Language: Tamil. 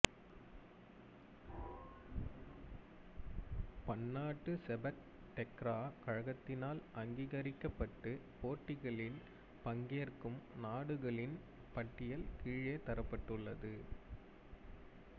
பன்னாட்டு செபக் டெக்ரா கழகத்தினால் அங்கீகரிக்கப்பட்டு போட்டிகளில் பங்கேற்கும் நாடுகளின் பட்டியல் கீழே தரப்பட்டுள்ளது